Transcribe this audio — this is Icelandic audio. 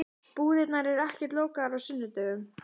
Búðirnar eru ekkert lokaðar á sunnudögum.